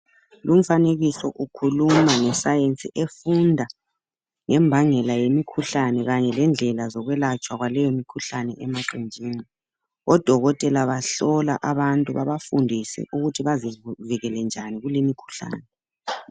Lumfanekiso ukhuluma ngesayensi efunda ngembangela yemikhuhlane Kanye lendlela zokwelatshwa kwaleyo mikhuhlane emaqenjini. Odokotela bahlola abantu bebafundise ukuthi bazivikele njani kulemikhuhlane.